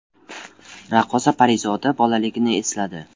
Raqqosa Parizoda bolaligini esladi.